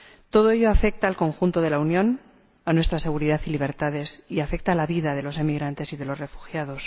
Todo ello afecta al conjunto de la Unión, a nuestra seguridad y libertades, y afecta a la vida de los emigrantes y de los refugiados.